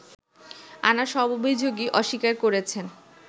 আনা সব অভিযোগই অস্বীকার করেছেন